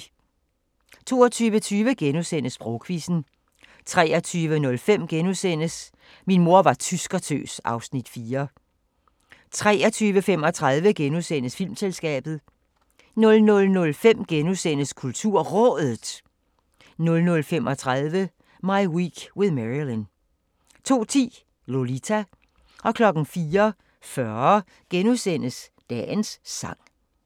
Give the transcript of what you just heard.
22:20: Sprogquizzen * 23:05: Min mor var tyskertøs (Afs. 4)* 23:35: Filmselskabet * 00:05: KulturRådet * 00:35: My Week with Marilyn 02:10: Lolita 04:40: Dagens sang *